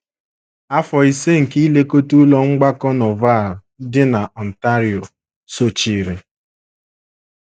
Afọ ise nke ilekọta Ụlọ Mgbakọ Norval dị na Ontario, sochiri.